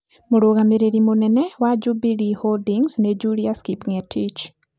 Mũrũgamĩrĩri mũnene wa Jubilee Holdings nĩ Julius Kipng’etich.